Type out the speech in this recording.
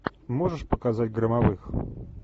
можешь показать громовых